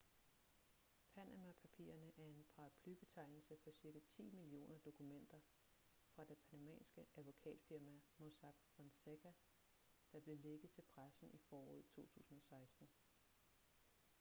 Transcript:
panama-papirerne er en paraplybetegnelse for ca ti millioner dokumenter fra det panamanske advokatfirma mossack fonseca der blev lækket til pressen i foråret 2016